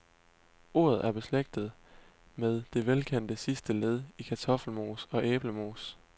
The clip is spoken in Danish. Ordet er beslægtet med det velkendte sidste led i kartoffelmos og æblemos.